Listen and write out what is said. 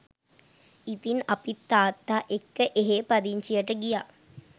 ඉතින් අපිත් තාත්තා එක්ක එහේ පදිංචියට ගියා